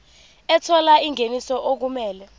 ethola ingeniso okumele